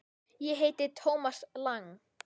Ég heiti Thomas Lang.